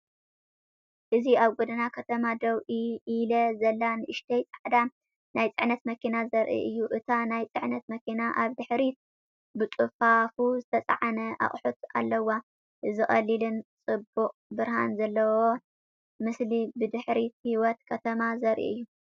እዚ ኣብ ጎደና ከተማ ደው ኢላ ዘላ ንእሽቶ ጻዕዳ ናይ ጽዕነት መኪና ዘርኢ እዩ። እታ ናይ ጽዕነት መኪና ኣብ ድሕሪት ብጽፉፍ ዝተጻዕነ ኣቑሑት ኣለዋ። እዚ ቀሊልን ጽቡቕ ብርሃን ዘለዎን ምስሊ ብድሕሪት ህይወት ከተማ ዘርኢ እዩ።